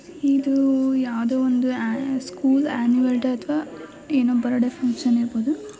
ಇದು ಯಾವುದೋ ಒಂದು ಆನು ಸ್ಕೂಲ್ ಅನುಯಲ್ ಡೇ ಅಥವಾ ಏನು ಬರ್ತ್ಡೇ ಫಂಕ್ಷನ ಇರಬಹುದು .